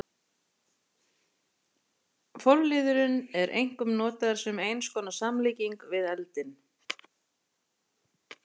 Forliðurinn er einkum notaður sem eins konar samlíking við eldinn.